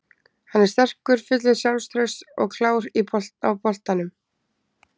Hann er sterkur, fullur sjálfstrausts og klár á boltanum.